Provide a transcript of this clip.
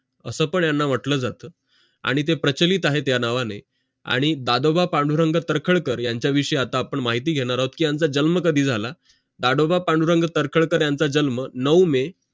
असं पण याना मनलं जाते आणि ते प्रचलित आहे या नावाने आणि दादोबा पांडुरंग तर्खडकर यांचा विषयी आता आपण माहिती घेणार आहोत कि यांचं जन्म कधी झालं दादोबा पांडुरंग तर्खडकर यांचा जन्म नऊ मे